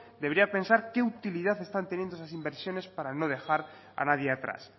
debería pensar qué utilidad están teniendo esas inversiones para no dejar a nadie atrás